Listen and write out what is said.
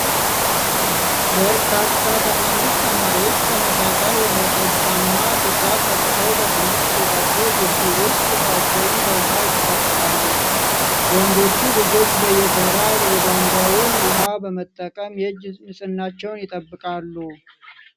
በርካታ ትንንሽ ተማሪዎች ተመሳሳይ ወይንጠጃማ ሹራብ ለብሰው በትምህርት ቤታቸው ግቢ ውስጥ እጃቸውን በውሃ ይታጠባሉ። ወንዶቹ ልጆች በየተራ የቧንቧውን ውሃ በመጠቀም የእጅ ንፅህናቸውን ይጠብቃሉ።